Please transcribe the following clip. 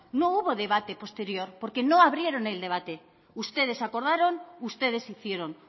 no hubo debate posterior porque no abrieron el debate ustedes acordaron ustedes hicieron